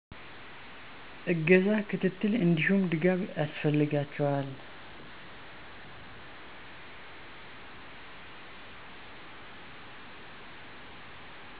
እገዛ፣ ክትትል እንዲሁም ድጋፍ ያስፈልጋቸዋል